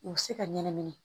U bɛ se ka ɲɛnɛmini